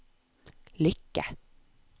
lykke